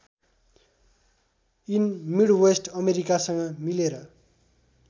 in Midwest अमेरिकासँग मिलेर